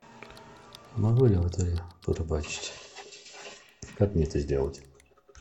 могу ли я в отеле порыбачить как мне это сделать